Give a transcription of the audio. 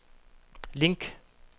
link